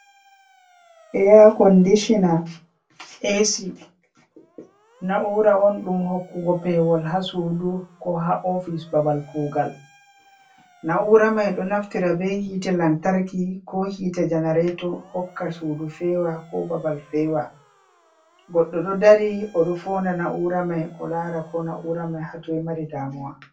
Eya condisina asi. na’ura on ɗum hokkugo pewol ha suɗu ko ha ofice babal kugal. Naura mai ɗo naftira be hite lantarki ko hite janareto hokka suɗu fewal ko babal fewa. goɗɗo ɗo ɗari oɗo founɗa naura mai o lara ko naura mai ha toi mari ɗamuwa.